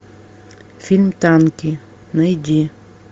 фильм танки найди